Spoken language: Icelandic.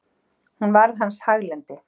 En hún varð hans haglendi.